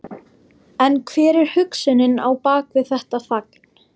En hver er hugsunin á bak við þetta fagn?